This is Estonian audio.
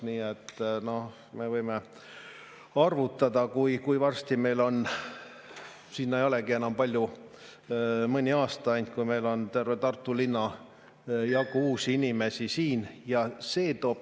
Nii et me võime arvutada, kui varsti meil on – sinna ei olegi enam palju, mõni aasta ainult – terve Tartu linna jagu uusi inimesi siin.